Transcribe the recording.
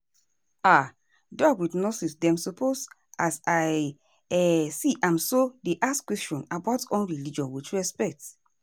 ah doc with nurse dem suppose as i um see am so dey ask questions about umreligion with respect.